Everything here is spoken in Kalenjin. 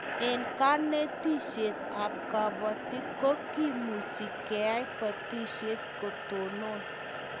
Eng' kanetishet ab kabatik ko kimuchi keyai botishet ko tonon